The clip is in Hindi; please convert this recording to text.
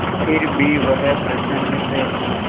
फिर भी वह प्रसन्न है